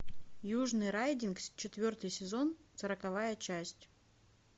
южный райдинг четвертый сезон сороковая часть